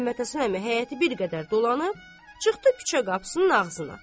Məmmədhəsən əmi həyəti bir qədər dolanıb, çıxdı küçə qapısının ağzına.